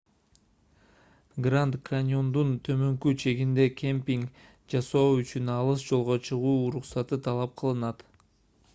гранд каньондун төмөнкү чегинде кемпинг жасоо үчүн алыс жолго чыгуу уруксаты талап кылынат